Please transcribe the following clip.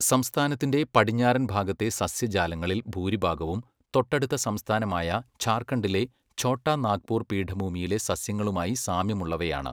സംസ്ഥാനത്തിൻ്റെ പടിഞ്ഞാറൻ ഭാഗത്തെ സസ്യജാലങ്ങളിൽ ഭൂരിഭാഗവും തൊട്ടടുത്ത സംസ്ഥാനമായ ജാർഖണ്ഡിലെ ഛോട്ടാ നാഗ്പൂർ പീഠഭൂമിയിലെ സസ്യങ്ങളുമായി സാമ്യമുള്ളവയാണ്.